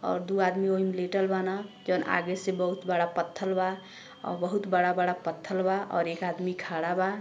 और दु आदमी ओही में लेटल बान। जोन आगे से बहुत बड़ा पत्थल बा औ बहुत बड़ा-बड़ा पत्थल बा और एक आदमी खड़ा बा।